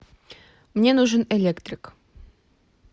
мне нужен электрик